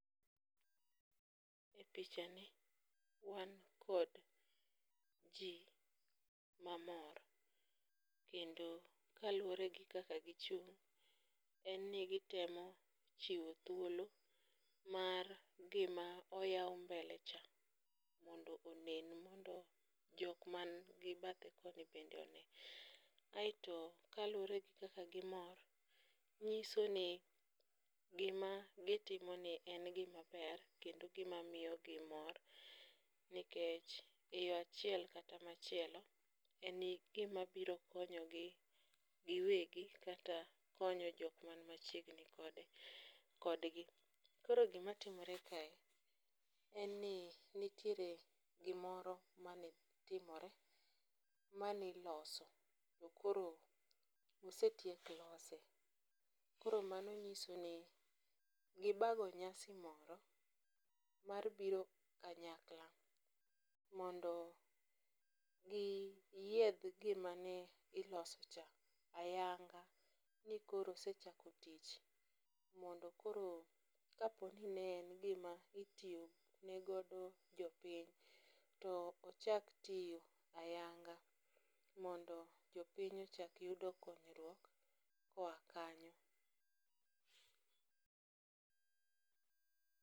E pichani wan kod ji mamor, kendo kaluore gi kaka gichung' en ni gitemo chiwo thuolo mar gima oyao mbelecha mondo onen mondo jok man gi bathe koni mondo onen, kaeto kaluore gi kaka gimor, nyisoni gima gitimoni en gimaber kendo gimamiyogi mor, nikech e yo achiel kata machielo en gima biro konyogi giwegi kata konyo jok man machiegni kodgi, koro gimatimore kae en ni nitiere gimoro matimore maniloso to koro osetiek lose, koro mano nyisoni gibago nyasi moro mar biro kanyakla mondo giyieth gimane gilosocha ayanga ni koro osechako tich mondo koro ka poni ne en gima itiyo ne godo jo piny to ochak tiyo ayang'a mondo jo piny ochak yudo konyruok koya kanyo